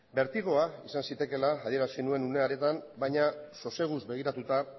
bertigoa izan zitekeela adierazi nuen une hartan baina soseguz begiratuta